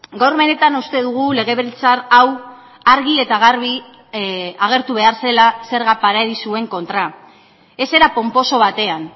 gaur benetan uste dugu legebiltzar hau argi eta garbi agertu behar zela zerga paradisuen kontra ez era ponposo batean